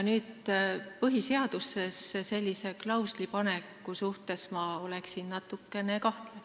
Põhiseadusesse sellise klausli paneku suhtes oleksin ma natukene kahtlev.